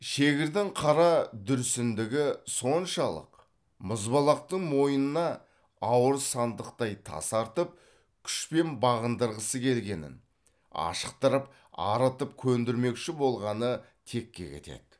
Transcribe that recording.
шегірдің қара дүрсіндігі соншалық мұзбалақтың мойнына ауыр сандықтай тас артып күшпен бағындырғысы келгенін ашықтырып арытып көдірмекші болғаны текке кетеді